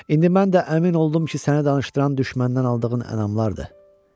İndi mən də əmin oldum ki, səni danışdıran düşməndən aldığın ənamlardır.